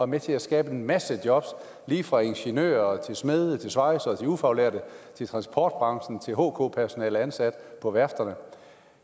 med til at skabe en masse jobs lige fra ingeniører til smede svejsere og ufaglærte fra transportbranchen og til hk personale ansat på værfterne